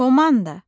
Komanda.